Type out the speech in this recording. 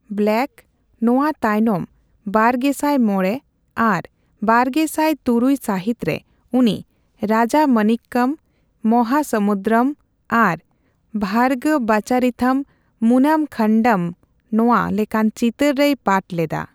ᱵᱞᱮᱠ'ᱼᱱᱚᱣᱟ ᱛᱟᱭᱱᱚᱢ ᱵᱟᱨᱜᱮᱥᱟᱭ ᱢᱚᱲᱮ ᱟᱨ ᱵᱟᱨᱜᱮᱥᱟᱭ ᱛᱩᱨᱩᱭ ᱥᱟᱹᱦᱤᱛ ᱨᱮ ᱩᱱᱤ 'ᱨᱟᱡᱟᱢᱚᱱᱤᱠᱠᱚᱢ', 'ᱢᱚᱦᱟᱥᱚᱢᱩᱫᱨᱚᱢ' ᱟᱨ 'ᱵᱷᱟᱨᱜᱚᱵᱟᱪᱟᱨᱤᱛᱷᱚᱢ ᱢᱩᱱᱟᱢ ᱠᱷᱟᱱᱰᱟᱢ'ᱼᱱᱚᱶᱟ ᱞᱮᱠᱟᱱ ᱪᱤᱛᱟᱹᱨ ᱨᱮᱭ ᱯᱟᱴᱷ ᱞᱮᱫᱟ ᱾